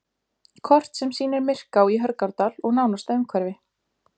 Kort sem sýnir Myrká í Hörgárdal og nánasta umhverfi.